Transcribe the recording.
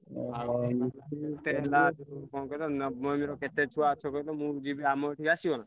କଣ କହିଲ ନବମୀ ର କେତେ ଛୁଆ ଅଛ କହିଲ ମୁଁ ବି ଯିବି ଆମର ଏଠି ଆସିବ ନା?